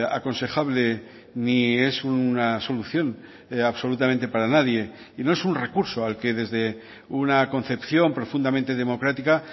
aconsejable ni es una solución absolutamente para nadie y no es un recurso al que desde una concepción profundamente democrática